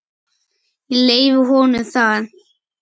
Ég leyfi honum það.